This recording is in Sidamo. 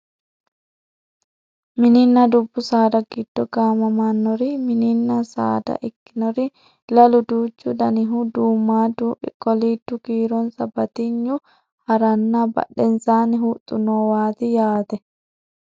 mininna dubbu saada giddo gaamamannori minin saada ikkinori lalu duuchu danihu duummaaddunna koliddu kiironsa batinyu haranna badhensaanni huxxu nowaati yaate